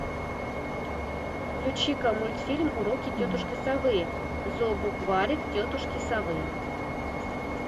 включи ка мультфильм уроки тетушки совы зообукварик тетушки совы